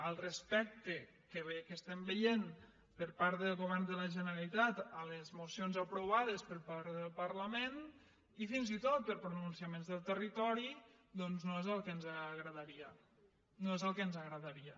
el respecte que estem veient per part del govern de la generalitat a les mocions aprovades per part del parlament i fins i tot per pronunciaments del territori doncs no és el que ens agradaria no és el que ens agradaria